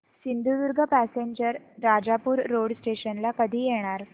Sindhudurg passenger Rajapur road station ला कधी येणार